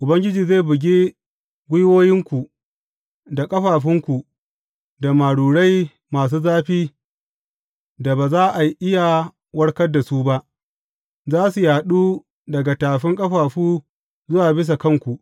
Ubangiji zai buge gwiwoyinku da ƙafafunku da marurai masu zafi da ba za a iya warkar da su ba, za su yaɗu daga tafin ƙafafu zuwa bisa kanku.